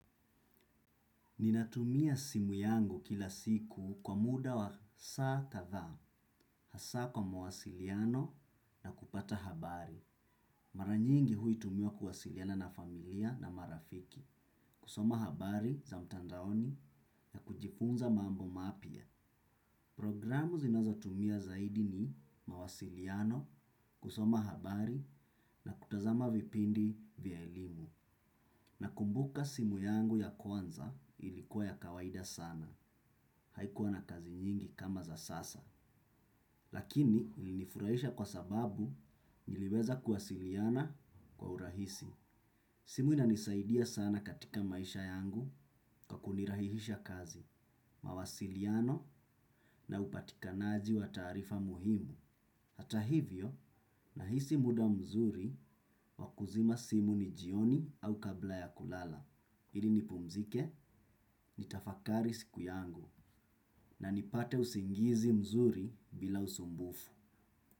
Ninatumia simu yangu kila siku kwa muda wa saa kadha, hasa kwa mawasiliano na kupata habari. Mara nyingi huitumia kuwasiliana na familia na marafiki, kusoma habari za mtandaoni na kujifunza mambo mapya. Programu zinazatumia zaidi ni mawasiliano, kusoma habari na kutazama vipindi vya elimu. Nakumbuka simu yangu ya kwanza ilikuwa ya kawaida sana. Haikuwa na kazi nyingi kama za sasa. Lakini ilinifurahisha kwa sababu niliweza kuwasiliana kwa urahisi. Simu inanisaidia sana katika maisha yangu kwa kunirahihisha kazi, mawasiliano na upatikanaji wa tarifa muhimu. Hata hivyo nahisi muda mzuri wa kuzima simu ni jioni au kabla ya kulala. Ili nipumzike, nitafakari siku yangu na nipate usingizi mzuri bila usumbufu.